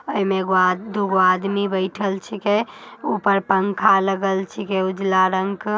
एमे एगो आदमी दुगो आदमी बैठल छिकै। ऊपर पंखा लगल छीकै उजला रंग का |